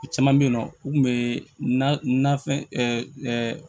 Caman bɛ yen nɔ u tun bɛ na fɛn